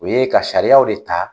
U ye ka sariyaw de ta.